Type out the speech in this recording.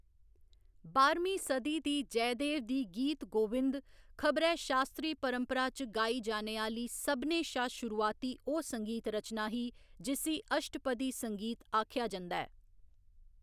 बाह्‌रमीं सदी दी जयदेव दी गीत गोविंद खबरै शास्त्रीय परंपरा च गाई जाने आह्‌ली सभनें शा शुरुआती ओह्‌‌ संगीत रचना ही जिस्सी अष्टपदी संगीत आखेआ जंदा ऐ।